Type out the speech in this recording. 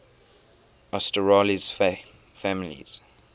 asterales families